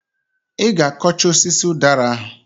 I g'akọcha osisi ụdara ahụ!